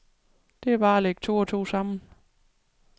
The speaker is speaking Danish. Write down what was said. Det var bare at lægge to og to sammen.